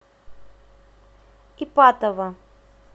ипатово